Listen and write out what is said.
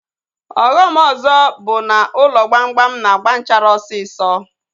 Ọghọm ọzọ bụ na ụlọ gbamgbam na-agba nchara osisọ